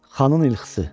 Xanın ilxısı.